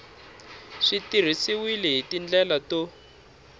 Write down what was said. swi tirhisiwile hi tindlela to